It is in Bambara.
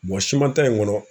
wa siman ta in kɔnɔ